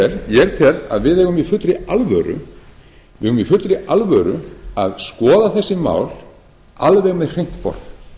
tel að við eigum í fullri alvöru að skoða þessi mál alveg með hreint borð